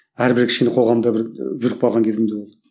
әрбір кішкене қоғамда бір жүріп қалған кезім де болды